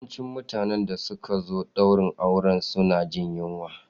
Yawanci mutanen da suka zo daurin auren suna jin yunwa.